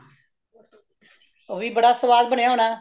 ਉਹ ਵੀ ਬੜਾ ਸਵਾਦ ਬਣਿਆ ਹੋਣਾ